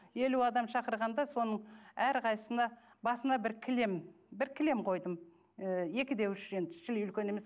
елу адам шақырғанда соның әрқайсысына басына бір кілем бір кілем қойдым ы екі де үш енді шіли үлкен емес